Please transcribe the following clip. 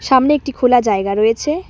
সামনে একটি খোলা জায়গা রয়েছে।